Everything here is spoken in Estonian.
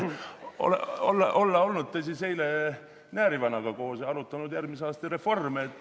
Olla olnud te siis eile näärivanaga koos ja arutanud järgmise aasta reforme.